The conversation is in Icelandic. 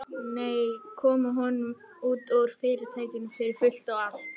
Nei, koma honum út úr Fyrirtækinu fyrir fullt og allt.